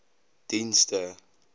dienste